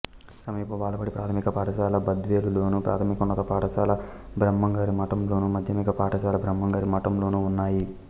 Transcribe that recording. సమీప బాలబడి ప్రాథమిక పాఠశాల బద్వేలులోను ప్రాథమికోన్నత పాఠశాల బ్రహ్మంగారిమఠంలోను మాధ్యమిక పాఠశాల బ్రహ్మంగారిమఠంలోనూ ఉన్నాయి